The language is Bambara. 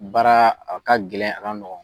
Baara a ka gɛlɛn a ka nɔgɔ.